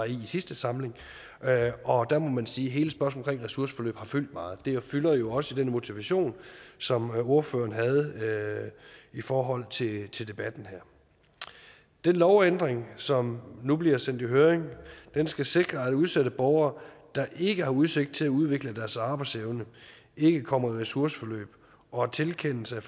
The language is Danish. i i sidste samling og der må man sige at hele spørgsmålet omkring ressourceforløb har fyldt meget det fylder jo også i den motivation som ordføreren havde i forhold til til debatten her den lovændring som nu bliver sendt i høring skal sikre at udsatte borgere der ikke har udsigt til at udvikle deres arbejdsevne ikke kommer i ressourceforløb og at tilkendelse